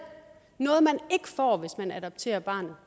noget man ikke får hvis man adopterer barnet